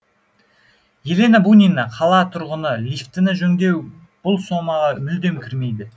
елена бунина қала тұрғыны лифтіні жөндеу бұл сомаға мүлдем кірмейді